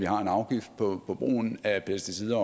har en afgift på brugen af pesticider